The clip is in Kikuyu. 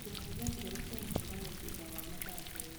kĩmenyithia kĩerũ kĩa mũcemanio thutha wa mathaa merĩ